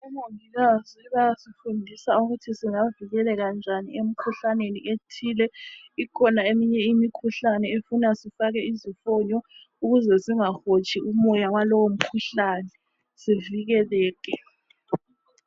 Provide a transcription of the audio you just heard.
Omongikazi bayasifundisa ukuthi singavikeleka njani emikhuhlaneni ethile. Ikhona eminye imikhuhlane efuna sifake izifonyo ukuze singahotshi umoya walowo mkhuhlane sivikeleke.